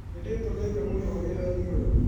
Nĩndĩtũmĩte mũno wĩrainĩ ũyũ.